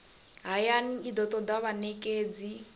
hayani i do toda vhanekedzi